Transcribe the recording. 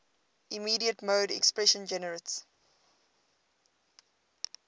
immediate mode expression generates